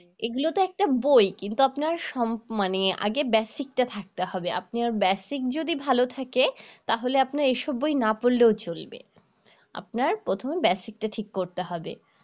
এগুলো তো একটা বই কিন্তু আপনার সম মানে আগে basic টা থাকতে হবে আপনার basic যদি ভাল থাকে তাহলে এসব বই না পড়লেও চলবে আপনার প্রথম basic টা ঠিক করতে হবে